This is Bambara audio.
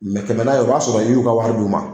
Mɛ kɛmɛ na ye o b'a sɔrɔ i y'u ka wari d'u ma